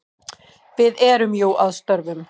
Við erum jú að störfum.